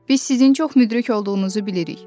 Biz sizin çox müdrik olduğunuzu bilirik.